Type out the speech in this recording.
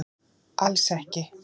Alls ekki